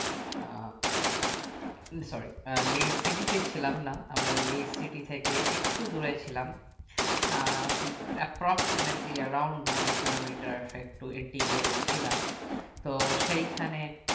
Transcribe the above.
আহ sorry uh Leh city তে ছিলাম না আমরা লে city থেকে একটু দূরে ছিলাম uh approximately around one kilomiter একটু ectiyere ছিলাম তো সেই খানে